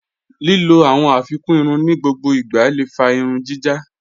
Lílọ̀ awọn afikún ìrùn ni gbogbo ìgbà lé fà ìrùn jíjá.